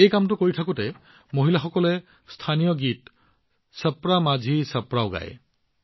এই কামৰ লগতে মহিলাসকলে স্থানীয় গীত ছপ্ৰা মাঝি ছপ্ৰাও গায়